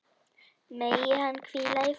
Megi hann hvíla í friði.